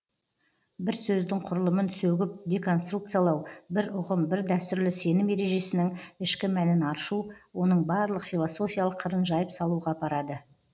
бір сөздің құрылымын сөгіп деконструкциялау бір ұғым бір дәстүрлі сенім ережесінің ішкі мәнін аршу оның барлық философиялық қырын жайып салуға апарады